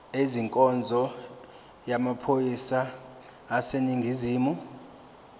ezenkonzo yamaphoyisa aseningizimu